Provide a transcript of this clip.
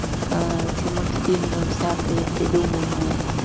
ээ эти мультфильмы взятые придуманные